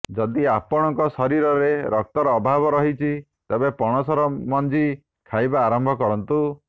ଯଦି ଆପଣଙ୍କ ଶରୀରରେ ରକ୍ତର ଅଭାବ ରହିଛି ତେବେ ପଣସର ମଞ୍ଜି ଖାଇବା ଆରମ୍ଭ କରନ୍ତୁ